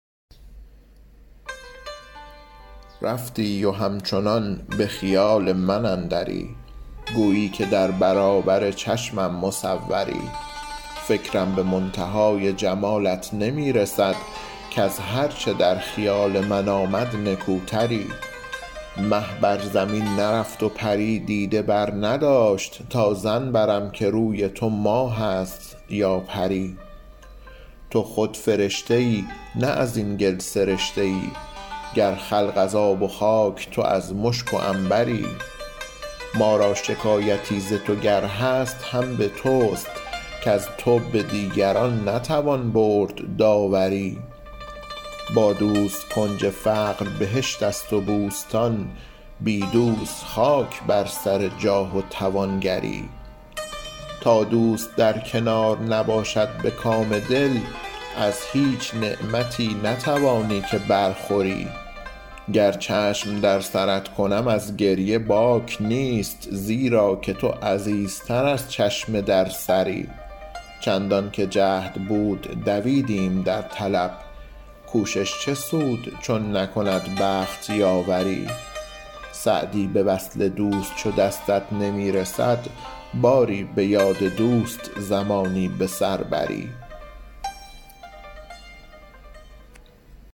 رفتی و همچنان به خیال من اندری گویی که در برابر چشمم مصوری فکرم به منتهای جمالت نمی رسد کز هر چه در خیال من آمد نکوتری مه بر زمین نرفت و پری دیده برنداشت تا ظن برم که روی تو ماه است یا پری تو خود فرشته ای نه از این گل سرشته ای گر خلق از آب و خاک تو از مشک و عنبری ما را شکایتی ز تو گر هست هم به توست کز تو به دیگران نتوان برد داوری با دوست کنج فقر بهشت است و بوستان بی دوست خاک بر سر جاه و توانگری تا دوست در کنار نباشد به کام دل از هیچ نعمتی نتوانی که برخوری گر چشم در سرت کنم از گریه باک نیست زیرا که تو عزیزتر از چشم در سری چندان که جهد بود دویدیم در طلب کوشش چه سود چون نکند بخت یاوری سعدی به وصل دوست چو دستت نمی رسد باری به یاد دوست زمانی به سر بری